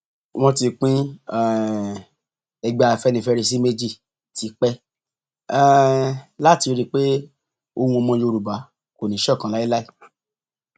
wọn ti pín um ẹgbẹ afẹnifẹre sí méjì tipẹ um láti rí i pé ohùn ọmọ yorùbá kò ní í ṣọkan láéláé